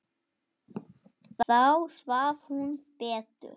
Þá svaf hún betur.